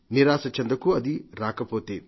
నిరాశ చెందకు అది రాకపోతే